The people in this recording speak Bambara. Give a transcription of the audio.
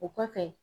O kɔfɛ